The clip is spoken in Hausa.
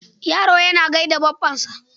Yaro yana gai da baffansa.